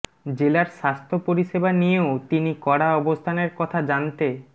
জেলার স্বাস্থ্য পরিষেবা নিয়েও তিনি কড়া অবস্থানের কথা জানতে